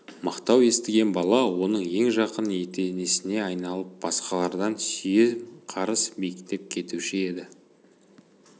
мақтау естіген бала оның ең жақын етенесіне айналып басқалардан сүйем қарыс биіктеп кетуші еді